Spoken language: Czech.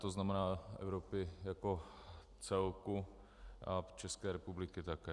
To znamená Evropy jako celku a České republiky také.